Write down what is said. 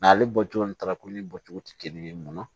N'ale bɔcogo ni talakoli bɔcogo tɛ kelen ye mun na